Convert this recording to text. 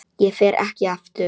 Ég fer ekki aftur.